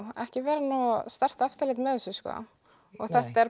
ekki verið nógu sterkt eftirlit með þessu og þetta er